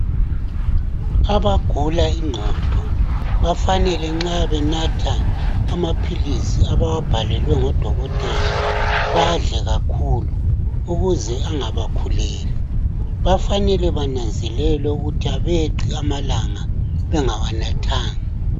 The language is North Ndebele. Abagula ingqondo bafanele nxa benatha amaphilisi abawabhalelwe ngodokotela badle kakhulu ukuze engabakhuleli .Bafanele bananzelwe ukuthi abeqi amalanga bengawanathanga .